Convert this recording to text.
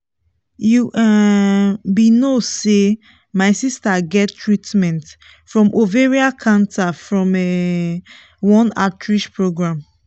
you um be no say my sister get treatment from ovarian cancer from um one outreach program